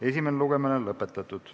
Esimene lugemine on lõpetatud.